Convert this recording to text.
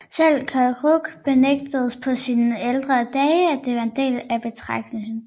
Selv Kerouac benægtede på sine ældre dage at være en del af beatgenerationen